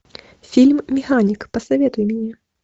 фильм механик посоветуй мне